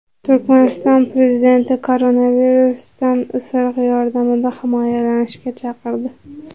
Turkmaniston prezidenti koronavirusdan isiriq yordamida himoyalanishga chaqirdi.